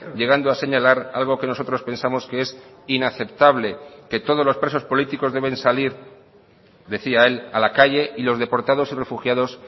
llegando a señalar algo que nosotros pensamos que es inaceptable que todos los presos políticos deben salir decía él a la calle y los deportados y refugiados